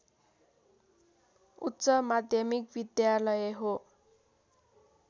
उच्च माध्यमिक विद्यालय हो